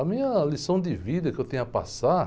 A minha lição de vida que eu tenho a passar...